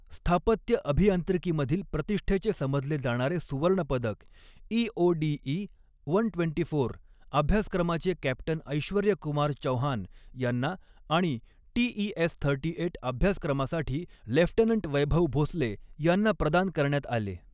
स्थापत्य अभियांत्रिकीमधील प्रतिष्ठेचे समजले जाणारे सुवर्णपदक ईओडीई एकशे चोवीस अभ्यासक्रमाचे कॅप्टन ऐश्वर्य कुमार चौहान यांना आणि टीईएस अडोतीस अभ्यासक्रमासाठी लेफ्टनंट वैभव भोसले यांना प्रदान करण्यात आले.